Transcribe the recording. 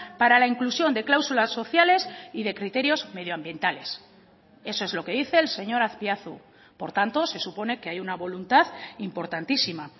para la inclusión de cláusulas sociales y de criterios medioambientales eso es lo que dice el señor azpiazu por tanto se supone que hay una voluntad importantísima